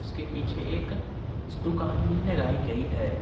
उसके पीछे एक इस दुकान भी लगाई गई है।